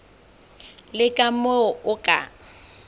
le ka moo o ka